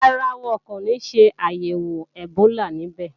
Rárá, wọn kò ní ṣàyẹ̀wò ẹ̀bólà níbẹ̀